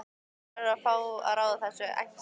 Matthías verður að fá að ráða þessu, ekki satt?